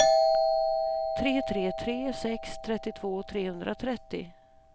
tre tre tre sex trettiotvå trehundratrettio